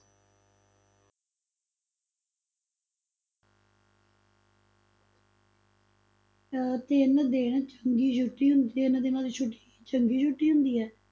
ਅਹ ਤਿੰਨ ਦਿਨ ਚੰਗੀ ਛੁੱਟੀ, ਤਿੰਨ ਦਿਨਾਂ ਦੀ ਛੁੱਟੀ ਕੀ ਚੰਗੀ ਛੁੱਟੀ ਹੁੰਦੀ ਹੈ?